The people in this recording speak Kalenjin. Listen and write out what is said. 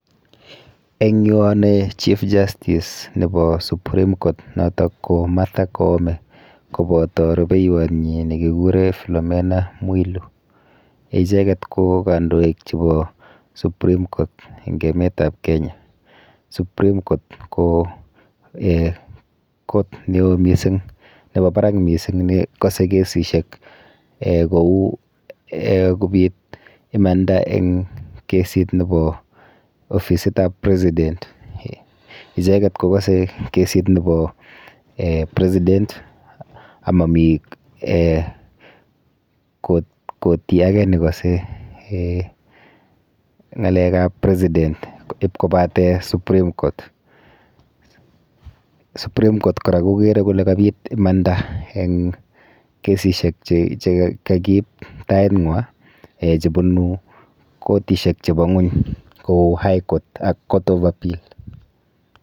Eng' yu anae, chief justice nebo Supreme court, notok ko Martha Koome, koboto rubeiywot nyi, ne kiguree, Flomena Mwilu. Icheket ko kandoik chebo supreme court eng' emetab Kenya. Supreme court ko um kot neo mising nebo barak mising, ne kase kesishiek kouu um kobiit imanda eng' kesiit nebo ofisitab president. Icheket kokase kesiit nebo[um] president amami[um] koti age ne kase um ng'alekab president ipkobate supreme court. Supreme court kora kokere kole kabiit imanda eng' kesishek che um kakiib tait ng'wa che bunu kotishek chebo ng'uny kouu High court ak Court of appea l.